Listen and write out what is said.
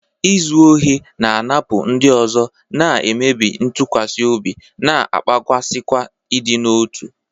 Izu ohi na-anapụ ndị ọzọ, na-emebi ntụkwasị obi, na-akpaghasịkwa ịdị n'otu.